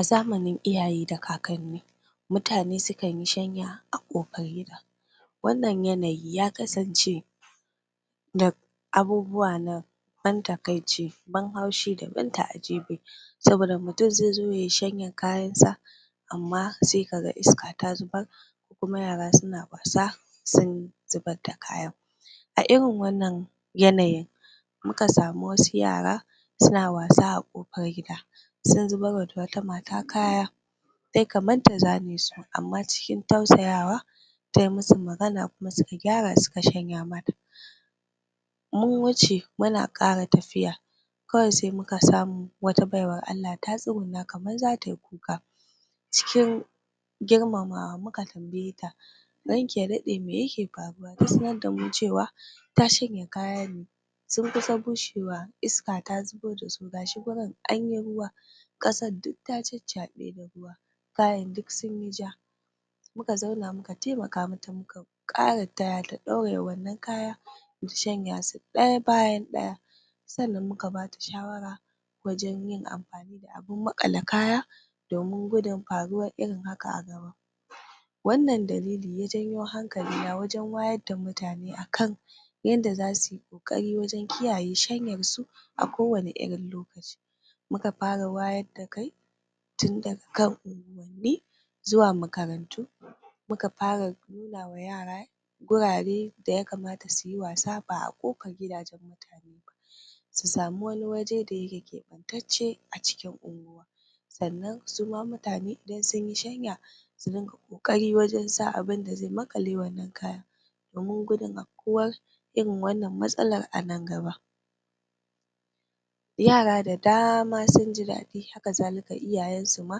A zamanin iyaye da kakanni mutane sukan yi shanya a kofar gida wannan yanayi ya kasance da abubuwa na ban takaici ban haushi da ban ta'ajibi saboda mutum zaizo yayi shanyar kayan sa amma sai kaga iska ta zubar kuma yara suna wasa sun zubar da kayan a irin wannan yanayin muka samu wasu yara suna wasa a kofar gida sun zubarwa da wata mata kaya tayi kamar ta zane su amma cikin tausayawa tayi musu magana kuma suka gyara suka shanya mata mu wuce muna ƙara tafiya kawai sai muka samu wata baiwar Allah ta tsogunna kamar zatayi kuka cikin grimamawa muka tambaye ta ranki ya daɗe mai yaka faruwa, ta sanar damu cewa ta shanya kaya ne sun kusa bushewa iska ta zubo dasu gashi wurin anyi ruwa ƙasar duk ta caccaɓe da ruwa kayan duk sunyi ja muka zauna muka taimaka mata muka muka ƙara taya ta ɗauraye wannan kaya mu shanya su ɗaya bayan ɗaya sannan muka bata shawara wajan yin amfani da abun maƙale kaya domin gudun faruwar irin haka a gaba wannan dalili ya janyo hankalina wajan wayar da mutane akan yadda zasuyi koƙari wajan kiyaye shanyarsu a kowanne irin lokaci muka fara wayar da kai tunda daga kan unghuwanni zuwa makaranu muka fara nunawa yara wurare da yakamata suyi wasa ba a kofar gidajen mutane ba su sami wani waje da yake keɓantacce a cikin unguwa sannan suma mutane idan sunyi shanya su dunga ƙoƙari wajan sa abinda zai maƙale wannan kayan domin gudun afkuwar irin wannan matsalar a nan gaba yara da dama sunji daɗi haka zalika iyayen su ma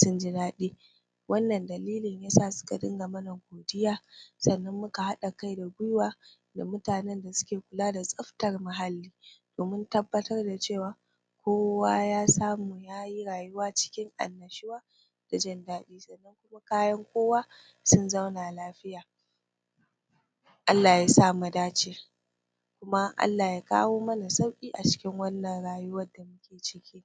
sunji daɗi wannan dalili yasa suka dunga mana godiya sannan muka haɗa kai da gwiwa da mutanan da suke kula da tsaftar muhalli domin tabbatar da cewa kowa ya samu yayi rayuwa cikin annashuwa da jin daɗi bayan kowa sun zauna lafiya Allah yasa mu dace kuma Allah ya kawo mana sauƙi a cikin wannan rayuwar da muke ciki